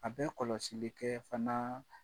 A bɛ kɔlɔsi kɛ fana